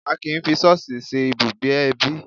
A kì í fi ṣọ́ọ̀ṣì ṣe ibùgbé ẹbí